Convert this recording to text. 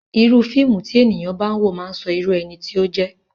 Irúu fíìmù tí ènìyàn bá ń wò máà ń sọ irú ẹni tí ó jẹ́.